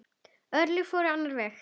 Örlögin fóru á annan veg.